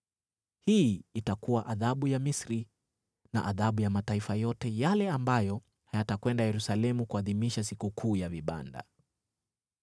Hii itakuwa adhabu ya Misri na adhabu ya mataifa yote yale ambayo hayatakwenda Yerusalemu kuadhimisha Sikukuu ya Vibanda.